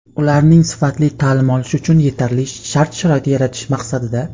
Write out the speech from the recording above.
ularning sifatli ta’lim olishi uchun yetarli shart-sharoit yaratish maqsadida:.